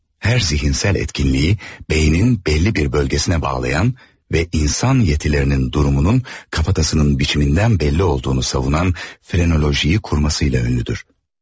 Hər zihinsel etkinliyi beynin belli bir bölgesinə bağlayan və insan yetilərinin durumunun kafatasının biçimindən belirli olduğunu savunan frenolojiyi kurmasıyla ünlüdür.